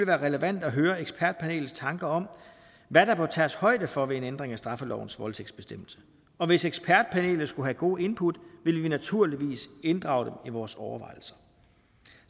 være relevant at høre ekspertpanelets tanker om hvad der bør tages højde for ved en ændring af straffelovens voldtægtsbestemmelse og hvis ekspertpanelet skulle have gode input vil vi naturligvis inddrage dem i vores overvejelser